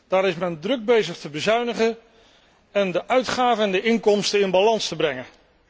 Daar is men druk bezig te bezuinigen en de uitgaven en de inkomsten in balans te brengen.